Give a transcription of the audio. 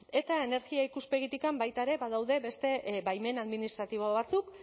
eta energia ikuspegitik baita ere badaude beste baimen administratibo batzuk